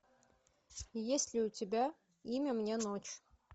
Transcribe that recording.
есть ли у тебя имя мне ночь